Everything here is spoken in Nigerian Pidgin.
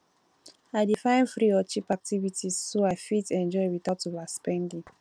i dey find free or cheap activities so i fit enjoy without overspending